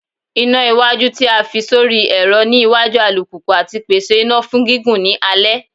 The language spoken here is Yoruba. Ina iwaju ti a fi sori ẹrọ ni iwaju alupupu ati pese ina fun gigun ni alẹ